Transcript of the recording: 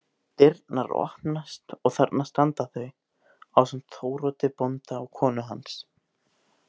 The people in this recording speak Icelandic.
Dyrnar opnast og þarna standa þau ásamt Þóroddi bónda og konu hans.